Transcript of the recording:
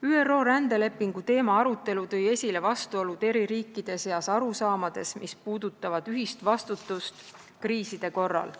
ÜRO rändelepingu teema arutelu tõi esile vastuolud eri riikide arusaamades, mis puudutavad ühist vastutust kriiside korral.